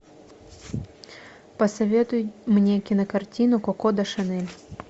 посоветуй мне кинокартину коко до шанель